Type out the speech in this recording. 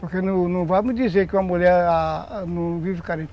Porque não não vai me dizer que uma mulher não vive carente